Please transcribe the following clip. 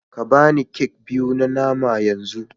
Ka ba ni kek biyu na nama yanzu